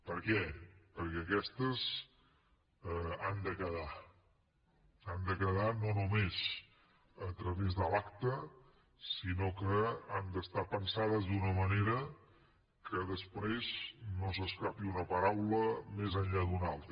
per què perquè aquestes han de quedar han de quedar no només a través de l’acte sinó que han d’estar pensades d’una manera que després no s’escapi una paraula més enllà d’una altra